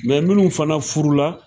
Mɛ minnu fana furu la